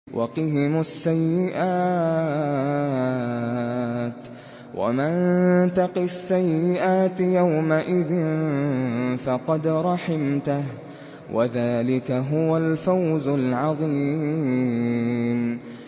وَقِهِمُ السَّيِّئَاتِ ۚ وَمَن تَقِ السَّيِّئَاتِ يَوْمَئِذٍ فَقَدْ رَحِمْتَهُ ۚ وَذَٰلِكَ هُوَ الْفَوْزُ الْعَظِيمُ